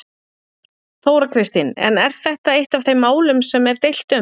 Þóra Kristín: En er þetta eitt af þeim málum sem er deilt um?